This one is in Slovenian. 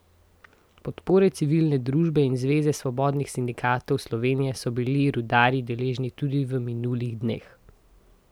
Podpore civilne družbe in Zveze svobodnih sindikatov Slovenije so bili rudarji deležni tudi v minulih dneh.